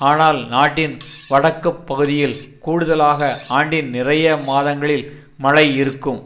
ஆனால் நாட்டின் வடக்கு பகுதியில் கூடுலாக ஆண்டின் நிறைய மாதங்களில் மழை இருக்கும்